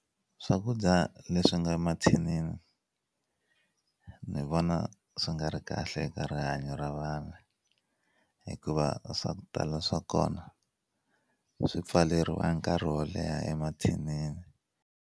Swakudya leswi nga mathinini ni vona swi nga ri kahle eka rihanyo ra vanhu hikuva swa ku tala swa kona swi pfaleriwa nkarhi wo leha emathinini.